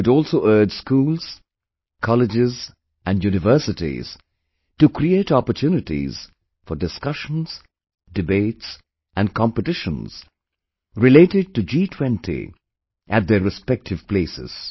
I would also urge schools, colleges and universities to create opportunities for discussions, debates and competitions related to G20 in their respective places